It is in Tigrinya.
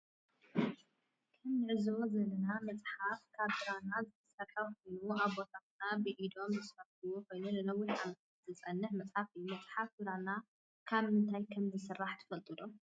ከም እንዕዞቦ ዘለና መፅሓፍ ካብ ብራና ዝተሰርሐ ኮይኑ አቦታትና ብኢዶም ዝስርሕዋ ኮይኑ ንነዊሒ ዓመታተ ዝፀንሕ መፅሓፍ እዩ። መፅሓፍ ብራና ካብ ምንታየ ከም ዝስራም ትፈልጥዎ ዶ